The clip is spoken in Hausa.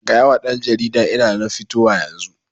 Gayawa ɗan jaridan ina nan fitowa yanzu